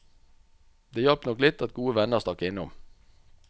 Det hjalp nok litt at gode venner stakk innom.